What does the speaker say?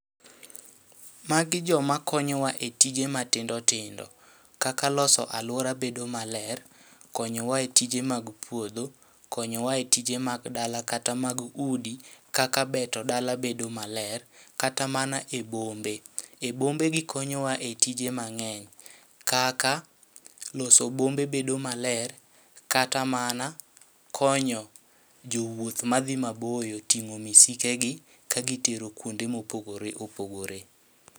Magi joma konyowa e tije matindo tindo kaka loso alwora bedo maler, konyowa e tije mag puodho. Konyowa e tije mag dala kata mag udi, kaka beto dala bedo maler. Kata mana e bombe, e bombe gikonyowa e tije mang'eny, kaka loso bombe bedo maler. Kata mana konyo jowuoth madhi ma boyo ting'o misike gi kagitero kuonde mopogore opogore.